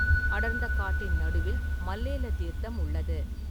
அடர்ந்த காட்டின் நடுவில் மல்லேல தீர்த்தம் உள்ளது.